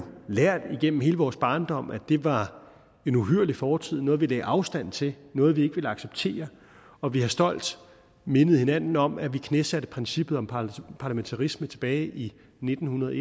lært igennem hele vores barndom at det var en uhyrlig fortid noget vi lagde afstand til noget vi ikke ville acceptere og vi har stolt mindet hinanden om at vi knæsatte princippet om parlamentarisme tilbage i nitten hundrede og